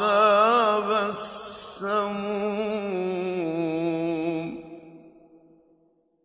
عَذَابَ السَّمُومِ